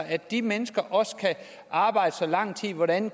at de mennesker også kan arbejde i så lang tid hvordan